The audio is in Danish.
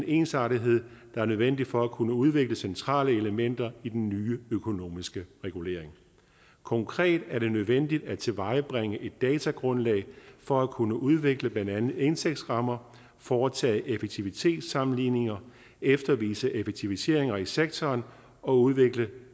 ensartethed der er nødvendig for at kunne udvikle centrale elementer i den nye økonomiske regulering konkret er det nødvendigt at tilvejebringe et datagrundlag for at kunne udvikle blandt andet indtægtsrammer foretage effektivitetssammenligninger eftervise effektiviseringer i sektoren og udvikle